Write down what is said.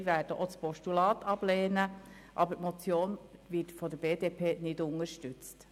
Ein Teil unserer Fraktion wird auch das Postulat ablehnen, aber die Motion wird von der BDP nicht unterstützt.